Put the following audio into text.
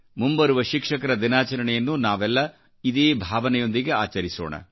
ಮುಂಬರುವ ಶಿಕ್ಷಕರ ದಿನಾಚರಣೆಯನ್ನು ನಾವೆಲ್ಲ ಇದೇ ಭಾವನೆಯೊಂದಿಗೆ ಆಚರಿಸೋಣ